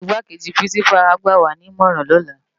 Igbákéji pirinsipá á gbàwá ni imòrán lòlá